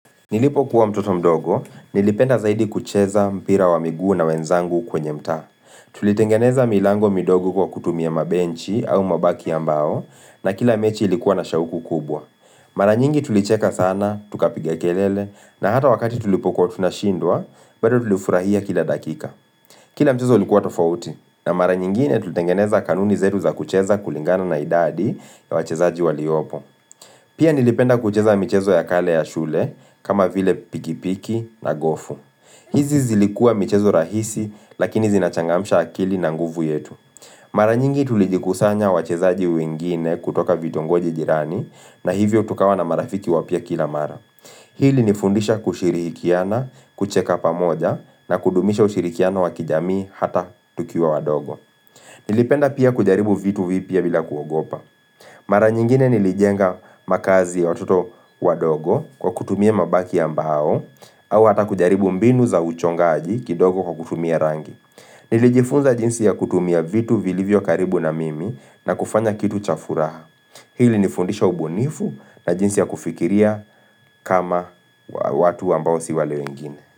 Nilipokuwa mtoto mdogo, nilipenda zaidi kucheza mpira wa miguu na wenzangu kwenye mtaa. Tulitengeneza milango midogo kwa kutumia mabenchi au mabaki ya mbao na kila mechi ilikuwa na shauku kubwa. Mara nyingi tulicheka sana, tukapiga kelele na hata wakati tulipokuwa tunashindwa, bado tulifurahia kila dakika. Kila mchezo ulikuwa tofauti na mara nyingine tulitengeneza kanuni zetu za kucheza kulingana na idadi ya wachezaji waliopo. Pia nilipenda kucheza michezo ya kale ya shule kama vile pikipiki na gofu hizi zilikua mchezo rahisi lakini zinachangamsha akili na nguvu yetu Mara nyingi tulijikusanya wachezaji wengine kutoka vitongoji jirani na hivyo tukawa na marafiki wapya kila mara Hili ilinifundisha kushirihikiana, kucheka pamoja na kudumisha ushirikiano wa kijamii hata tukiwa wadogo Nilipenda pia kujaribu vitu vipya bila kuogopa Mara nyingine nilijenga makazi ya watoto wadogo kwa kutumia mabaki ya mbao au hata kujaribu mbinu za uchongaji kidogo kwa kutumia rangi. Nilijifunza jinsi ya kutumia vitu vilivyo karibu na mimi na kufanya kitu cha furaha. Hili ilinifundisha ubunifu na jinsi ya kufikiria kama watu ambao si wale wengine.